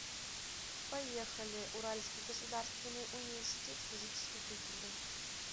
поехали уральский государственный университет физической культуры